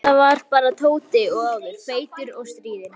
Þetta var bara sami Tóti og áður, feitur og stríðinn.